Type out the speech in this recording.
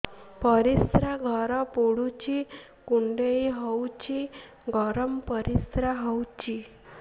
ପରିସ୍ରା ଘର ପୁଡୁଚି କୁଣ୍ଡେଇ ହଉଚି ଗରମ ପରିସ୍ରା ହଉଚି